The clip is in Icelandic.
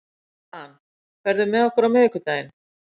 Dan, ferð þú með okkur á miðvikudaginn?